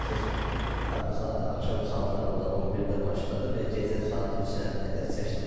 Proses hardasa axşam saatlarında 11-də başladı və gecə saat 3-ə qədər çəkdi.